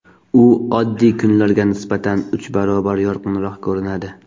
U oddiy kunlarga nisbatan uch barobar yorqinroq ko‘rinadi.